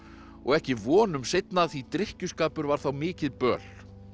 og ekki vonum seinna því drykkjuskapur var þá mikið böl